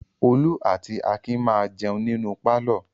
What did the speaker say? Olú àti Akin máa jẹun nínú pálọ̀.